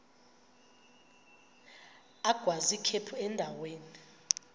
agwaz ikhephu endaweni